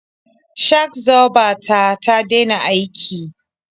Shak-zoba ta ta dena aiki.